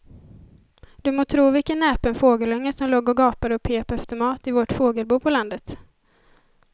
Du må tro vilken näpen fågelunge som låg och gapade och pep efter mat i vårt fågelbo på landet.